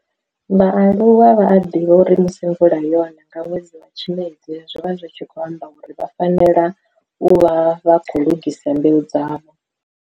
vhaaluwa vha a ḓivha uri musi mvula yoṋa nga ṅwedzi wa Tshimedzi zwi vha zwi tshi khou amba uri vha fanela u vha vha khou lugisa mbeu dzavho.